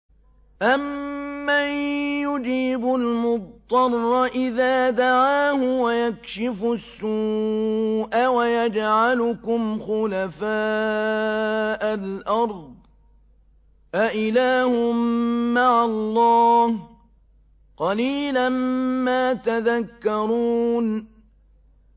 أَمَّن يُجِيبُ الْمُضْطَرَّ إِذَا دَعَاهُ وَيَكْشِفُ السُّوءَ وَيَجْعَلُكُمْ خُلَفَاءَ الْأَرْضِ ۗ أَإِلَٰهٌ مَّعَ اللَّهِ ۚ قَلِيلًا مَّا تَذَكَّرُونَ